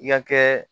I ka kɛ